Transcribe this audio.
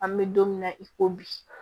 An bɛ don min na i ko bi